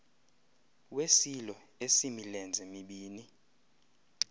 wesilo esimilenze mibini